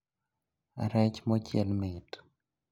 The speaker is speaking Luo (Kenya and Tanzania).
Rech mochiel mit